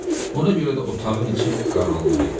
Ona görə də otağın içi qaranlıq idi.